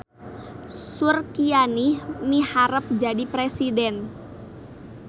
Surkianih miharep jadi presiden